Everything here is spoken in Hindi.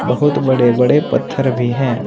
बहुत बड़े बड़े पत्थर भी हैं।